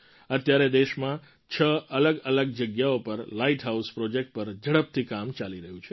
અત્યારે દેશમાં છ અલગઅલગ જગ્યાઓ પર લાઇટ હાઉસ પ્રૉજેક્ટ પર ઝડપથી કામ ચાલી રહ્યું છે